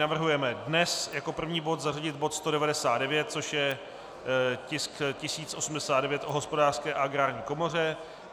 Navrhujeme dnes jako první bod zařadit bod 199, což je tisk 1089 o Hospodářské a Agrární komoře.